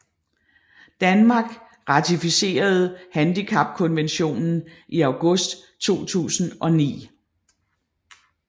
Danmark ratificerede handicapkonventionen i august 2009